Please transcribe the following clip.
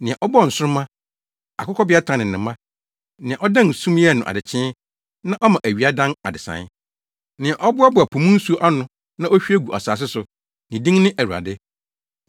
Nea ɔbɔɔ nsoromma, Akokɔbeatan ne ne mma, nea ɔdan sum yɛ no adekyee na ɔma awia dan adesae. Nea ɔboaboa po mu nsu ano na ohwie gu asase so, ne din ne Awurade.